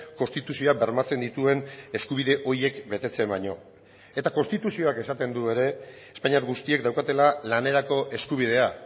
konstituzioa bermatzen dituen eskubide horiek betetzen baino eta konstituzioak esaten du ere espainiar guztiek daukatela lanerako eskubidea